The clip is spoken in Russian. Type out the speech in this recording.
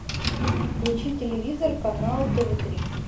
включи телевизор канал тв три